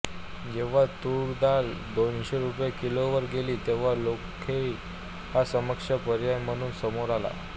जेव्हा तूर डाळ दोनशे रुपये किलोवर गेली तेव्हा लाखोळी हा सक्षम पर्याय म्हणून समोर आला